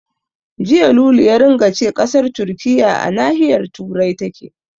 Jiya Lulu ya ringa ce ƙasar Turkiyya a nahiyar Turai take.